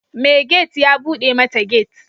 Mai gate ya bude mata gate.